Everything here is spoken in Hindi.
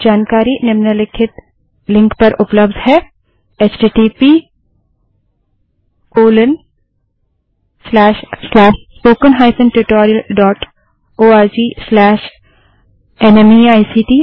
अधिक जानकारी निम्नलिखित लिंक httpspoken tutorialorgNMEICT Intro पर उपलब्ध है